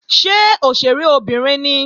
Ṣé òṣèré obìnrin ni?